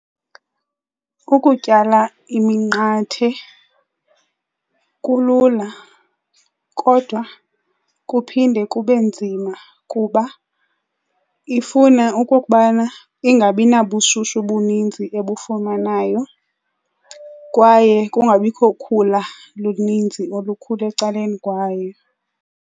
Ukutyala iminqathe kulula kodwa kuphinde kube nzima kuba ifuna okokubana ingabi nabubushushu bunintsi ebufumanayo kwaye kungabikho khula lunintsi olukhula ecaleni kwayo.